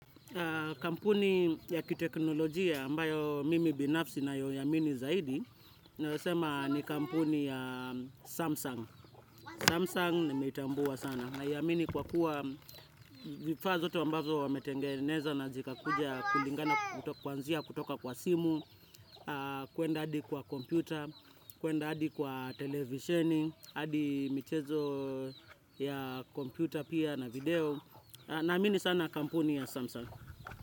Kampuni ya kiteknolojia ambayo mimi binafsi ninayoiamini zaidi tunaeza sema ni kampuni ya Samsung Samsung nimetambua sana. Naiamini kwa kuwa vifaa zote ambazo wametengeneza na zika kuja kulingana kwanzia kutoka kwa simu kuenda hadi kwa kompyuta kuenda hadi kwa televisheni hadi michezo ya kompyuta pia na video. Naamini sana kampuni ya Samsung.